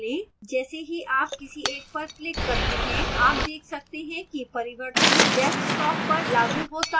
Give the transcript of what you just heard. जैसे ही आप किसी एक पर click करते हैं आप देख सकते हैं कि परिवर्तन desktop पर लागू होता है